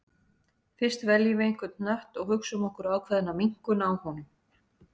Fyrst veljum við einhvern hnött og hugsum okkur ákveðna minnkun á honum.